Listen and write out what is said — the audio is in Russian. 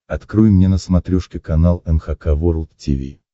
открой мне на смотрешке канал эн эйч кей волд ти ви